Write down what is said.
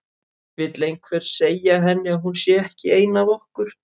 Vill einhver segja henni að hún sé ekki ein af okkur.